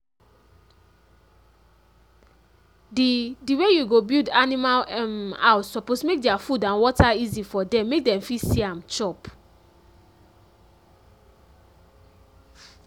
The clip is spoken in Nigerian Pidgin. the the way you go build animal um house suppose make their food and water easy for dem make dem fit see am chop